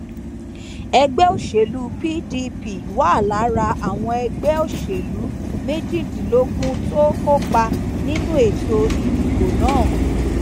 ẹgbẹ òṣèlú pdp wà lára àwọn ẹgbẹ òṣèlú méjìdínlógún tó kópa nínú ètò ìdìbò náà